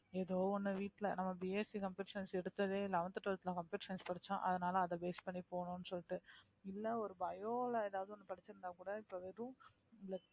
ஏதோ ஒண்ணு வீட்டுல நம்ம BSCcomputer science எடுத்ததே eleventh twelfth ல computer science படிச்சோம் அதனால அதை base பண்ணி போகணும்னு சொல்லிட்டு இல்லை ஒரு bio ல ஏதாவது ஒண்ணு படிச்சிருந்தா கூட இப்ப வெறும்